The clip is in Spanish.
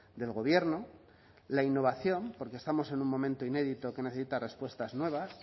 del gobierno la innovación porque estamos en un momento inédito que necesita respuestas nuevas